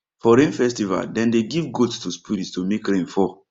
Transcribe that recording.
for rain festival dem dey give goat to spirit to make rain fall